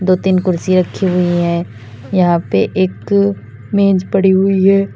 दो तीन कुर्सी रखी हुई है यहां पे एक मेज पड़ी हुई है।